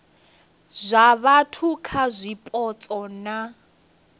zwa vhathu kha zwipotso na